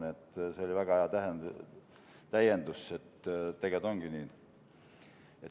Nii et see oli väga hea täiendus, tegelikult ongi nii.